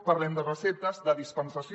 parlem de receptes de dispensació